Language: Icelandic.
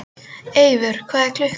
Eivör, hvað er klukkan?